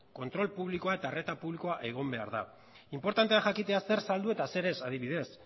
kontrol publikoa eta arreta publikoa egon behar da inportantea da jakitea zer saldu eta zer ez adibidez